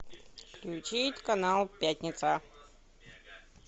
включить канал пятница